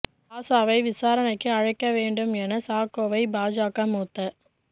ராசாவை விசாரணைக்கு அழைக்க வேண்டும் என சாக்கோவை பாஜக மூத்த